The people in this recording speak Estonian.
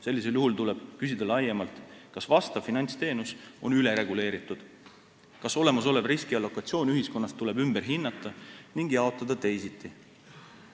Sellisel juhul tuleb küsida laiemalt, kas vastav finantsteenus on ülereguleeritud, kas olemasolev riskiallokatsioon ühiskonnas tuleb ümber hinnata ning jaotada teisiti.